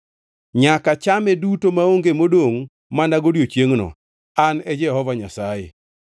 Nyaka chame duto maonge modongʼ mana godiechiengno. An e Jehova Nyasaye.